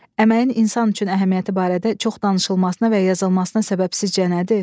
Əməyin insan üçün əhəmiyyəti barədə çox danışılmasına və yazılmasına səbəbsizcə nədir?